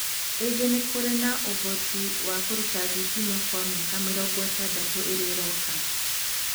ingĩ nĩ kũrĩ na ũvoti wa kũruta thitima kwa mĩaka 60 ĩrĩa ĩroka.